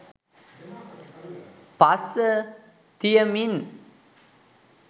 පස්ස තියමින්